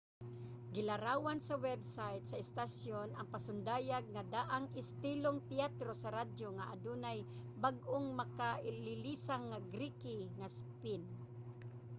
gilarawan sa web site sa istasyon ang pasundayag nga daang istilong teatro sa radyo nga adunay bag-o ug makalilisang nga geeky nga spin!